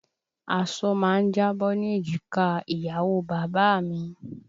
Aṣọ má ń jábọ́ ní èjìká ìyàwó bàbá a mi